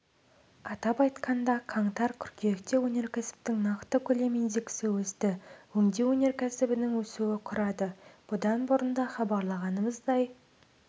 атап айтқанда қаңтар-қыркүйекте өнеркәсіптің нақты көлем индексі өсті өңдеу өнеркәсібінің өсуі құрады бұдан бұрын да хабарлағанымыздай